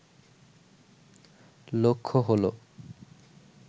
লক্ষ্য হল